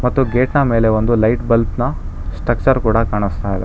ಮತ್ತು ಗೇಟ್ ನ ಮೇಲೆ ಒಂದು ಲೈಟ್ ಬಲ್ಪ್ ನ ಸ್ಟ್ರಕ್ಚರ್ ಕೂಡ ಕಾಣಿಸ್ತಾ ಇದೆ.